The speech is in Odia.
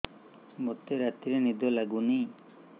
ମୋତେ ରାତିରେ ନିଦ ଲାଗୁନି